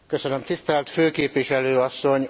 Tisztelt Főképviselő asszony!